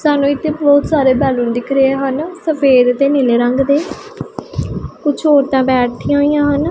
ਸਾਨੂੰ ਇਥੇ ਬਹੁਤ ਸਾਰੇ ਬੈਲੂਨ ਦਿਖ ਰਹੇ ਹਨ ਸਫੇਦ ਤੇ ਨੀਲੇ ਰੰਗ ਦੇ ਕੁਛ ਔਰਤਾਂ ਬੈਠੀਆਂ ਹੋਈਆਂ ਹਨ।